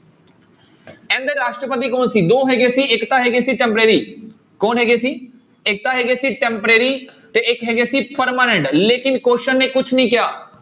ਇਹਦੇ ਰਾਸ਼ਟਰਪਤੀ ਕੌਣ ਸੀ, ਦੋ ਹੈਗੇ ਸੀ ਇੱਕ ਤਾਂ ਹੈਗੇ ਸੀ temporary ਕੌਣ ਹੈਗੇ ਸੀ ਇੱਕ ਤਾਂ ਹੈਗੇ ਸੀ temporary ਤੇ ਇੱਕ ਹੈਗੇ ਸੀ permanent ਲੇਕਿੰਨ question ਨੇ ਕੁਛ ਨੀ ਕਿਹਾ।